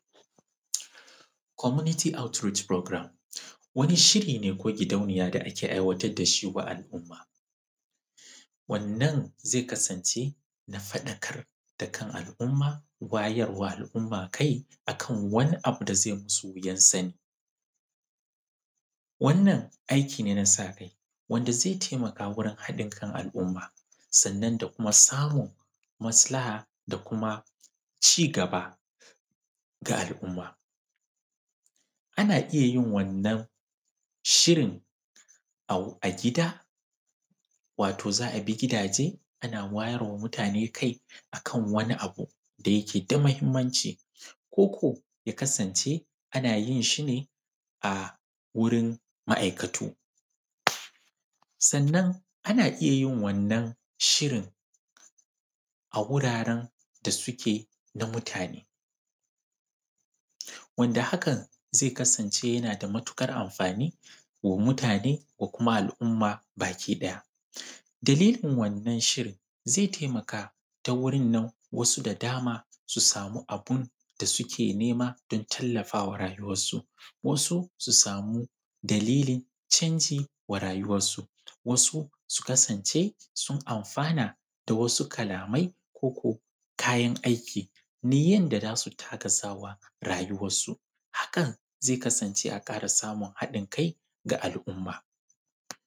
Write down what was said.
Komuniti autiriti furagram wani shiri ne wanda wata gidauniya take aiwatar da al’umma, wannan ze kasance na faɗakar da dukkan al’umma, wayar wa al’umma akan wani abu da zai musu wuyan sani. Wannan aiki ne na saka kai wanda zai taimaka wajen haɗin kan al’umma, sannan da kuma samun maslaha da cigaba ga al’umma. Ana iya yin wannan shirin a gida, wato za abi gidaje ana wayar wa mutane kai akan wani abu da yake da mahimmanci, koko ya kasance ana yin shi ne a wurin ma’aikato, sannan ana iya yin shirin a wuraren da suke tare, wanda hakan zai kasance na da matuƙar anfani wa mutane da al’umma baki ɗaya. Dalilin wannan shirin ze taimaka ta wurin taimakon wasu da dama su sami abunda suke nema, su sami tallafa wa rayyuwansu, wasu su sama dalili canji wa rayyuwansu, wasu su kasance sun anfana da wasu kalamai koko kayan aiki, ta yanda za su taimaka wa rayuwansu, hakan zai kasance an ƙara samun haɗin kai ga al’umma.